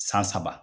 San saba